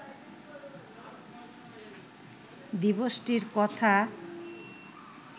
দিবসটির কথা